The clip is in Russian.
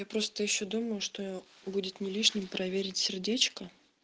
я просто ещё думаю что будет нелишним проверить сердечко